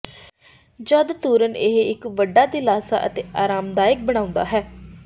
ਜਦ ਤੁਰਨ ਇਹ ਇੱਕ ਵੱਡਾ ਦਿਲਾਸਾ ਅਤੇ ਆਰਾਮਦਾਇਕ ਬਣਾਉਦਾ ਹੈ